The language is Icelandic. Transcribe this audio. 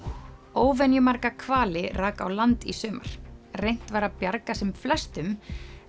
óvenjumarga hvali rak á land í sumar reynt var að bjarga sem flestum